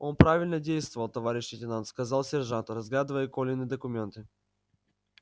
он правильно действовал товарищ лейтенант сказал сержант разглядывая колины документы